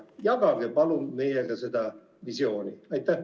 Jagage palun meiega seda visiooni!